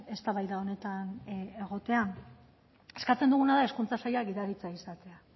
eztabaida honetan egotea eskatzen duguna da hezkuntza saila gidaritza izatea